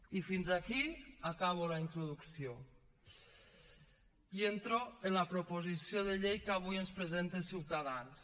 i fins aquí acabo la introducció i entro en la proposició de llei que avui ens presenta ciutadans